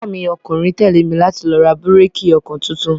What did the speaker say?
Ọmọ iya mi ọkùnrin tẹ́lé mi láti lọ ra bíréékì ọkọ tuntun.